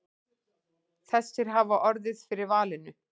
Þessir hafi orðið fyrir valinu.